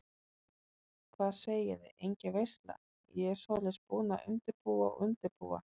Hvað segiði, engin veisla, ég svoleiðis búin að undirbúa og undirbúa.